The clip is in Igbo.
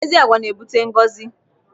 Ezi agwa n'ebute ngọzi.